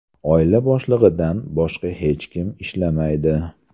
Oila boshlig‘idan boshqa hech kim ishlamaydi.